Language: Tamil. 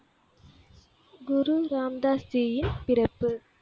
குரு ராம் தாஸ் ஜீயின் பிறப்பு